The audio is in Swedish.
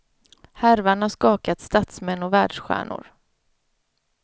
Härvan har skakat statsmän och världsstjärnor.